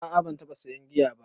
A a ban taɓa sayan giya ba